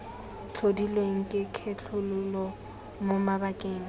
tlhodilweng ke kgethololo mo mabakeng